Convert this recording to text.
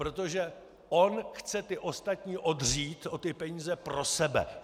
Protože on chce ty ostatní odřít o ty peníze pro sebe!